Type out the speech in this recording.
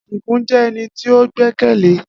Adigun jẹ́ ẹni tí ó gbẹ́kẹ̀lé